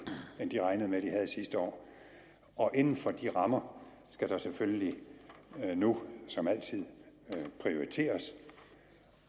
end de regnede med at de havde sidste år og inden for de rammer skal der selvfølgelig nu som altid prioriteres